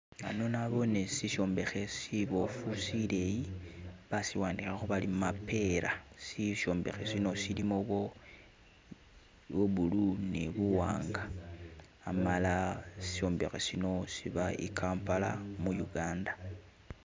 Hano naboone shishombekhe shibofu shileyi bashiwandikhakho bari "MAPEERA" shishombekhe shino shilimo bwo blue ni buwanga hamala shishombekhe shino shiba Kampala mu Uganda.